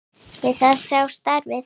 Við það sé staðið.